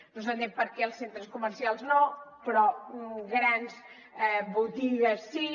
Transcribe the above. no s’entén per què els centres comercials no però grans botigues sí